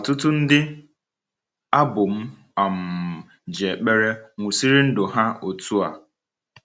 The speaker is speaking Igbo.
Ọtụtụ ndị abụ m um ji ekpere nwụsịrị ndụ ha otu a.